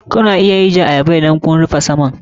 Kuna iya ajiyar ayaba idan ka rufe saman.